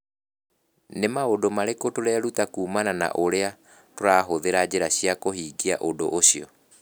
Nĩ maũndũ marĩkũ tũreruta kuumana na ũrĩa tũrahũthĩra njĩra cia kũhingia ũndũ ũcio?